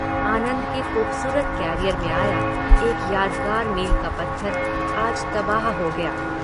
आनंद के खूबसूरत करियर में आया एक यादगार मील का पत्थर आज तबाह हो गया।